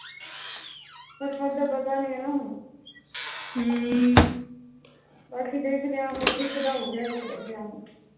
ਕਿਸਮਤ ਦਾ ਪਤਾ ਨੀ ਹੁਣ ਹਮ ਅਸੀਂ ਇੱਕ ਤਾਂ ਹੋ ਗਿਆ ਇੱਕ ਰਹਿ ਗਿਆ